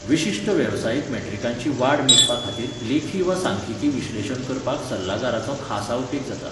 विशिश्ट वेवसायीक मॅट्रिकांची वाड मेजपाखातीर लेखि वा सांख्यिकी विश्लेशण वापरपाक सल्लागाराचो खासा उपेग जाता.